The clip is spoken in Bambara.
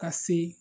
Ka se